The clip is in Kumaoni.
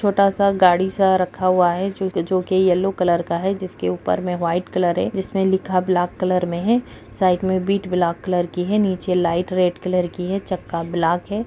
छोटा-सा गाड़ी-सा रखा हुआ है जो-जो कि येलो कलर का है जिसके ऊपर में व्हाइट कलर है जिसमें लिखा ब्लैक कलर में है साइड मे बीट ब्लैक कलर की है नीचे लाइट रेड कलर की है चक्का ब्लैक है।